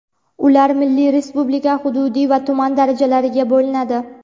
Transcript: Ular milliy, respublika, hududiy va tuman darajalariga bo‘linadi.